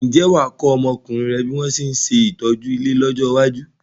Ǹjẹ́ wà á kọ́ ọmọkùnrin rẹ bí wọn ṣe ń ṣe ìtọ́jú ilé lọ́jọ́ iwájú?